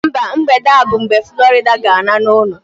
Mba, mgbede a bụ mgbe Florida ga-ala n'ụlọ